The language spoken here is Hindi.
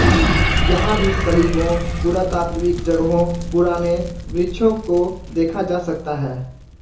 यहाँ भी सलीबों पुरातात्त्विक जगहों पुराणे वृक्षों को देखा जा सकता है